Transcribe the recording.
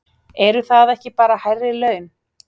Eru það ekki bara hærri laun?